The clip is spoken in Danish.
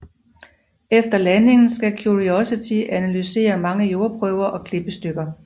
Efter landingen skal Curiosity analysere mange jordprøver og klippestykker